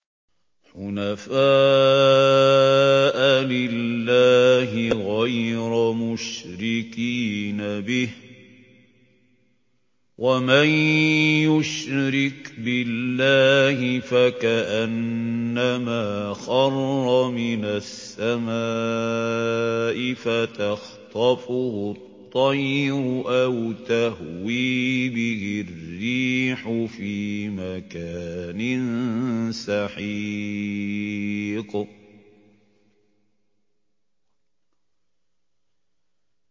حُنَفَاءَ لِلَّهِ غَيْرَ مُشْرِكِينَ بِهِ ۚ وَمَن يُشْرِكْ بِاللَّهِ فَكَأَنَّمَا خَرَّ مِنَ السَّمَاءِ فَتَخْطَفُهُ الطَّيْرُ أَوْ تَهْوِي بِهِ الرِّيحُ فِي مَكَانٍ سَحِيقٍ